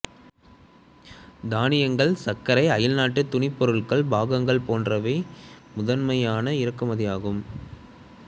தானியங்கள் சர்க்கரை அயல்நாட்டு துணி பொருட்களின் பாகங்கள் போன்றவை முதன்மையான இறக்குமதிகள் ஆகும்